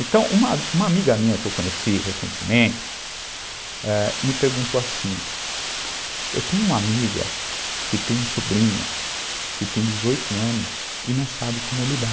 Então, uma uma amiga minha que eu conheci recentemente, ãh me perguntou assim, eu tenho uma amiga que tem um sobrinho que tem dezoito anos e não sabe como lidar.